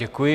Děkuji.